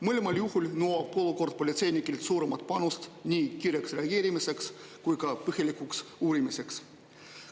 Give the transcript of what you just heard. Mõlemal juhul nõuab olukord politseinikelt suuremat panust nii kiireks reageerimiseks kui põhjalikuks uurimiseks.